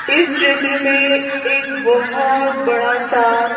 इस क्षेत्र में एक बहोोोत बड़ा सा --